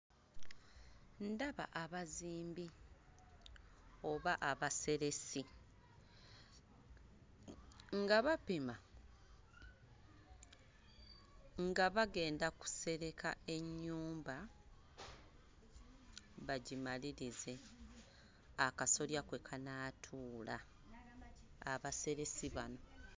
Ndaba abazimbi oba abaseresi nga bapima nga bagenda kusereka ennyumba bagimalirize akasolya kwe kanaatuula. Abaseresi bano.